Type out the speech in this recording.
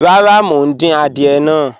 Rárá, mo ń dín àdìẹ̀ náà.